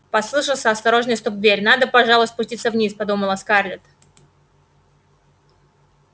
послышался осторожный стук в дверь надо пожалуй спуститься вниз подумала скарлетт